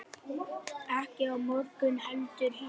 Ekki á morgun heldur hinn.